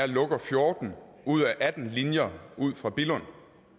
lukker fjorten ud af atten linjer ud fra billund